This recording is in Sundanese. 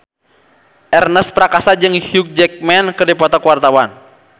Ernest Prakasa jeung Hugh Jackman keur dipoto ku wartawan